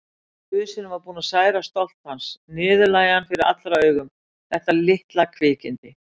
Businn var búinn að særa stolt hans, niðurlægja hann fyrir allra augum, þetta litla kvikindi.